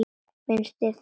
Finnst þér það já.